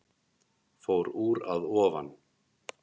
Fór úr að ofan